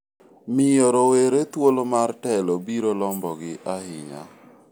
miyo rawere thuolo mar telo biro lombogi ahinya